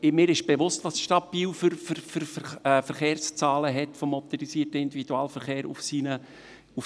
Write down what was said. Mir ist bewusst, welche Verkehrszahlen die Stadt Biel in Bezug auf den motorisierten Individualverkehr auf ihren Achsen hat.